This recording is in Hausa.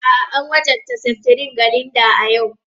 A'a, an wajabta seftirin ga Linda a yau.